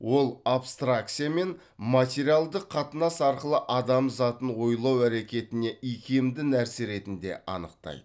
ол абстракция мен материалдық қатынас арқылы адам затын ойлау әрекетіне икемді нәрсе ретінде анықтайды